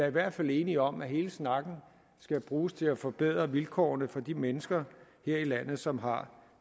i hvert fald enige om at hele snakken skal bruges til at forbedre vilkårene for de mennesker her i landet som har